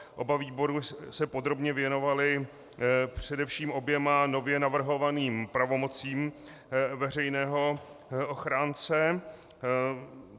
Oba výbory se podrobně věnovaly především oběma nově navrhovaným pravomocím veřejného ochránce.